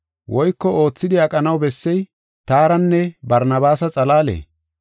Woyko oothidi aqanaw bessey taaranne Barnabaasa xalaalee?